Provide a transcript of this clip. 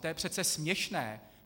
To je přece směšné!